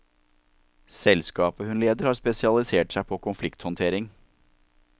Selskapet hun leder har spesialisert seg på konflikthåndtering.